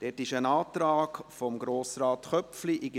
Dort gibt es einen Antrag von Grossrat Köpfli.